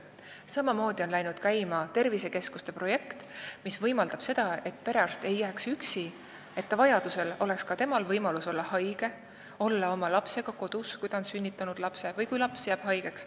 Samamoodi on läinud käima tervisekeskuste projekt, mis võimaldab seda, et perearst ei jääks üksi ja ka temal oleks võimalus olla haigena kodus või kui vaja, olla lapsega kodus.